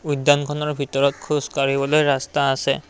উদ্যানখনৰ ভিতৰত খোজ কাঢ়িবলৈ ৰাস্তা আছে।